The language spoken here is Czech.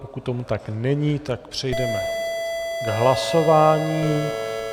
Pokud tomu tak není, tak přejdeme k hlasování.